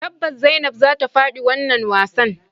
Tabbas zainab zata fadi wannan wasan.